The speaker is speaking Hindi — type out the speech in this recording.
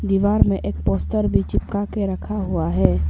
दीवार में एक पोस्टर भी चिपका के रखा हुआ है।